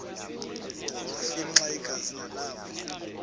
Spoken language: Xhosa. afimxa igazi nalapho